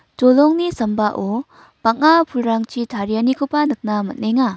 dolongni sambao bang·a pulrangchi tarianikoba nikna man·enga.